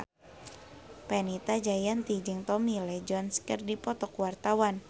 Fenita Jayanti jeung Tommy Lee Jones keur dipoto ku wartawan